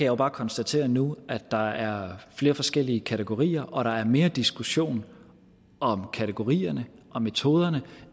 jo bare konstatere nu at der er flere forskellige kategorier og at der er mere diskussion om kategorierne og metoderne